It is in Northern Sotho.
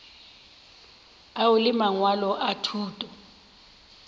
ao le mangwalo a thuto